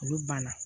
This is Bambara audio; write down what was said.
Olu banna